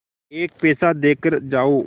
एक पैसा देकर जाओ